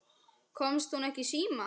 Komst hún ekki í síma?